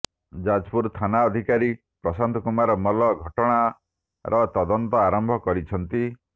ଯାଜପୁର ଥାନାଧିକାରୀ ପ୍ରଶାନ୍ତ କୁମାର ମଲ୍ଲ ଘଟଣାର ତଦନ୍ତ ଆରମ୍ଭ କରିଛନ୍ତି